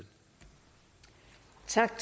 sådan